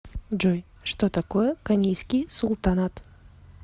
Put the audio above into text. джой что такое конийский султанат